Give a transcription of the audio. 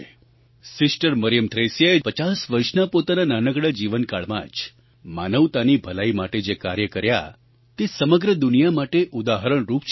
sister Mariam થ્રેસિસે 50 વર્ષના પોતાના નાનકડા જીવનકાળમાં જ માનવતાની ભલાઈ માટે જે કાર્ય કર્યાં તે સમગ્ર દુનિયા માટે ઉદાહરણરૂપ છે